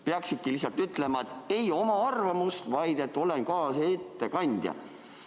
Peaksid lihtsalt ütlema, et ei oma arvamust, vaid oled kaasettekandja.